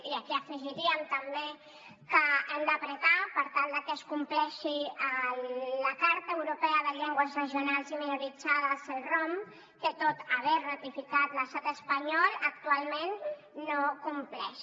i aquí hi afegiríem també que hem de pressionar per tal de que es compleixi la carta europea de les llengües regionals o minoritàries celrom que tot i haver la ratificat l’estat espanyol actualment no la compleix